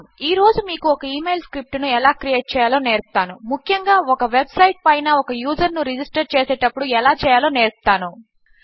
ఈ రోజు మీకు ఒక ఇమెయిల్ స్క్రిప్ట్ ను ఎలా క్రియేట్ చేయాలో నేర్పుతాను ముఖ్యముగా ఒక వెబ్ సైట్ పైన ఒక యూజర్ ను రిజిస్టర్ చేసేటప్పుడు ఎలా చేయాలో నేర్పుతాను